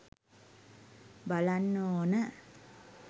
බලන්න ඕන